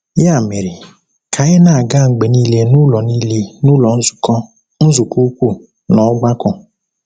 Ya mere, ka anyị na-aga mgbe niile n’ụlọ niile n’ụlọ nzukọ, nzukọ ukwu, na ọgbakọ.